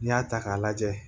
N'i y'a ta k'a lajɛ